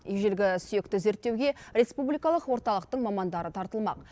ежелгі сүйекті зерттеуге республикалық орталықтың мамандары тартылмақ